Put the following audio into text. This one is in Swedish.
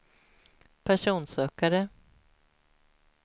personsökare